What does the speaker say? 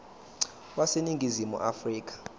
wase ningizimu afrika